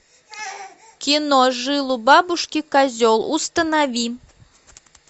кино жил у бабушки козел установи